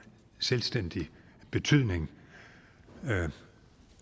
selvstændig betydning